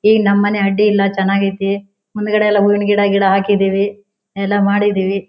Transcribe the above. ಈ ನೇಮ್ ಮನೆ ಅಡ್ಡಿ ಇಲ್ಲ ಚೆನ್ನಾಗಿ ಐತ್ತಿ ಮುಂದ್ಗಡೆ ಎಲ್ಲ ಹೂವಿನ ಗಿಡ ಗಿಡ ಹಾಕಿದೀವಿ ಎಲ್ಲ ಮಾಡಿದೀವಿ.